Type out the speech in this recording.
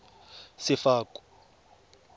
sefako